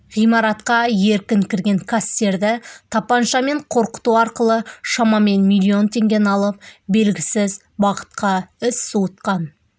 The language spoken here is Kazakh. ғимаратқа еркін кірген кассирді тапаншамен қорқыту арқылы шамамен миллион теңгені алып белгісіз бағытқа із суытқан